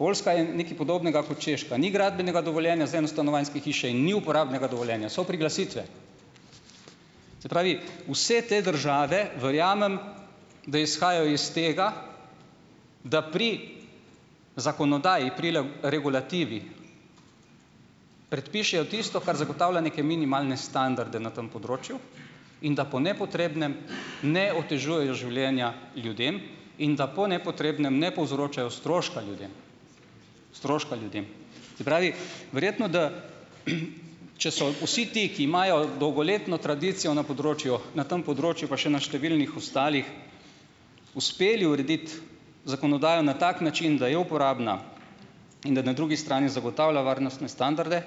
Poljska je nekaj podobnega kot Češka, ni gradbenega dovoljenja za enostanovanjske hiše in ni uporabnega dovoljenja. So priglasitve. Se pravi, vse te države verjamem, da izhajajo iz tega, da pri zakonodaji pri regulativi predpišejo tisto, kar zagotavlja neke minimalne standarde na tem področju in da po nepotrebnem ne otežujejo življenja ljudem in da po nepotrebnem ne povzročajo stroška ljudem. Stroška ljudem. Se pravi, verjetno, da če so vsi ti, ki imajo dolgoletno tradicijo na področju, na tem področju pa še na številnih ostalih, uspeli urediti zakonodajo na tak način, da je uporabna in da na drugi strani zagotavlja varnostne standarde,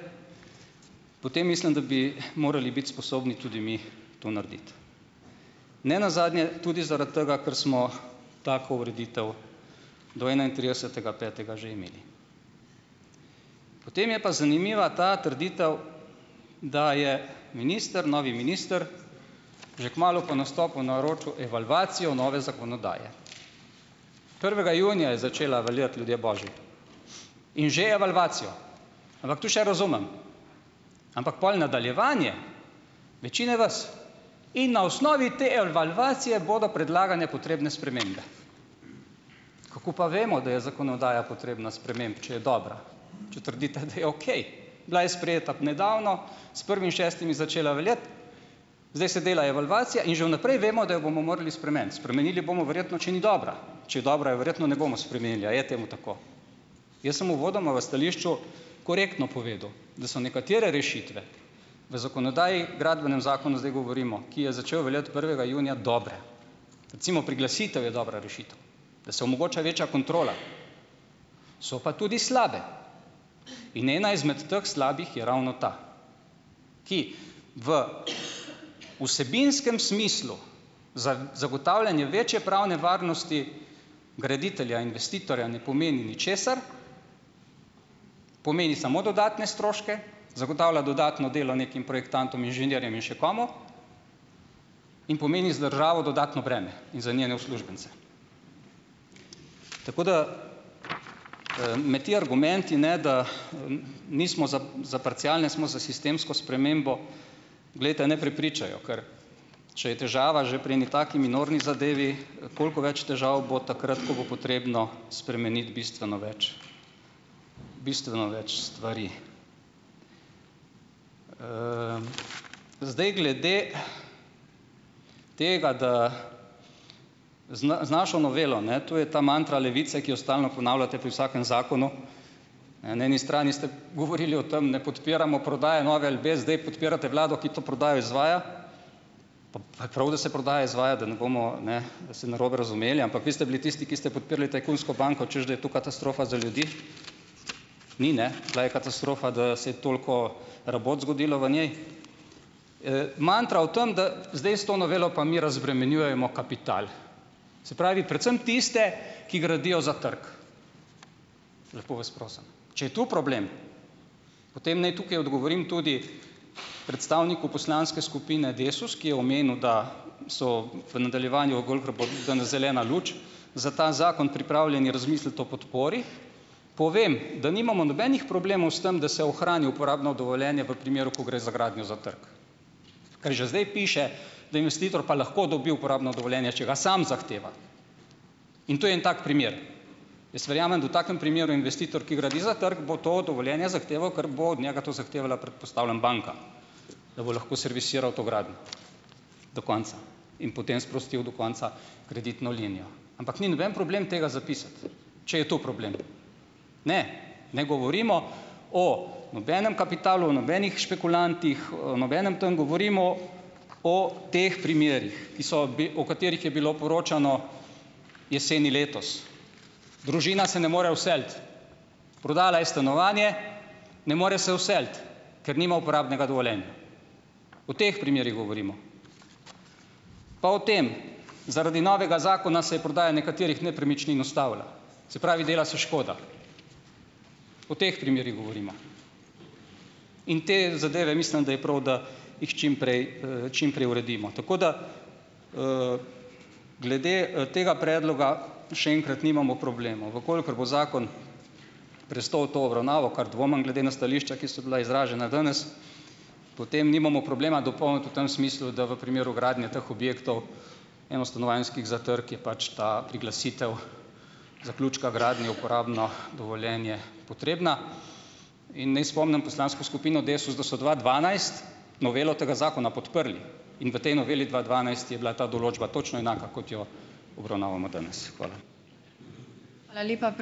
potem mislim, da bi morali biti sposobni tudi mi to narediti. Ne nazadnje tudi zaradi tega, ker smo tako ureditev do enaintridesetega petega že imeli. Potem je pa zanimiva ta trditev, da je minister, novi minister, že kmalu po nastopu naročil evalvacijo nove zakonodaje. Prvega junija je začela veljati, ljudje božji. In že evalvacijo. Ampak to še razumem. Ampak pol nadaljevanje večine vas, in na osnovi te evalvacije bodo predlagane potrebne spremembe. Kako pa vemo, da je zakonodaja potrebna sprememb, če je dobra, če trdite, da je okej. Bila je sprejeta ob nedavno, s prvim šestim je začela veljati, zdaj se dela evalvacija in že v naprej vemo, da jo bomo morali spremeniti. Spremenili bomo verjetno, če ni dobra. Če je dobra, jo verjetno ne bomo spremenili, ali je temu tako? Jaz sem uvodoma v stališču korektno povedal, da so nekatere rešitve v zakonodaji, Gradbenem zakonu sedaj govorimo, ki je začel veljati prvega junija, dobre. Recimo, priglasitev je dobra rešitev, da se omogoča večja kontrola. So pa tudi slabe. In ena izmed teh slabih je ravno ta, ki v vsebinskem smislu za zagotavljanje večje pravne varnosti graditelja, investitorja ne pomeni ničesar, pomeni samo dodatne stroške, zagotavlja dodatno delo nekim projektantom, inženirjem in še komu, in pomeni za državo dodatno breme in za njene uslužbence. Tako da me ti argumenti, ne da nismo za za parcialne, smo za sistemsko spremembo, poglejte, ne prepričajo, ker če je težava že pri eni taki minorni zadevi, koliko več težav bo takrat, ko bo potrebno spremeniti bistveno več, bistveno več stvari. Zdaj glede tega, da Zn z našo novelo, ne, to je ta mantra levice, ki jo stalno ponavljate pri vsakem zakonu, ja, na eni strani ste govorili o tem, ne podpiramo prodaje Nove LB, zdaj podpirate vlado, ki to prodajo izvaja, pa je prav, da se prodaja izvaja, da ne bomo, ne, da se narobe razumeli. Ampak vi ste bili tisti, ki ste podpirali tajkunsko banko, hočeš, da je to katastrofa za ljudi. Ni, ne. Bila je katastrofa, da se toliko rabot zgodilo v njej. Mantra v tem, da zdaj s to novelo pa mi razbremenjujemo kapital. Se pravi, predvsem tiste, ki gradijo za trg. Lepo vas prosim. Če je to problem, potem naj tukaj odgovorim tudi predstavniku poslanske skupine Desus, ki je omenil, da so v nadaljevanju gol prepo danes zelena luč za ta zakon pripravljeni razmisliti o podpori, povem, da nimamo nobenih problemov s tem, da se ohrani uporabno dovoljenje v primeru, ko gre za gradnjo za trg. Ker že zdaj piše, da investitor pa lahko dobi uporabno dovoljenje, če ga samo zahteva. In to je en tak primer. Jaz verjamem, da v takem primeru investitor, ki gradi za trg, bo to dovoljenje zahteval, ker bo od njega to zahtevala, predpostavljam, banka, da bo lahko servisiral to gradnjo do konca in potem sprostil do konca kreditno linijo. Ampak ni noben problem tega zapisati. Če je to problem. Ne. Ne govorimo o nobenem kapitalu, o nobenih špekulantih, nobenem tam - govorimo o teh primerih, ki so bi, o katerih je bilo poročano jeseni letos. Družina se ne more vseliti. Prodala je stanovanje, ne more se vseliti. Ker nima uporabnega dovoljenja. O teh primerih govorimo. Pa o tem - zaradi novega zakona se je prodaja nekaterih nepremičnin ustavila. Se pravi, dela se škoda. O teh primerih govorimo. In te zadeve, mislim, da je prav, da jih čim prej, čim prej uredimo. Tako da - glede tega predloga, še enkrat, nimamo problemov. V kolikor bo zakon prestal to obravnavo - kar dvomim, glede na stališča, ki so bila izražena danes - potem nimamo problema dopolniti v tem smislu, da v primeru gradnje teh objektov enostanovanjskih za trg je pač ta priglasitev zaključka gradnje uporabno dovoljenje potrebna. In naj spomnim poslansko skupino Desus, da so dva dvanajst novelo tega zakona podprli. In v tej noveli dva dvanajst je bila ta določba točno enaka, kot jo obravnavamo danes. Hvala.